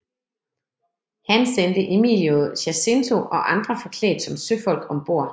Han sendte Emilio Jacinto og andre forklædt som søfolk ombord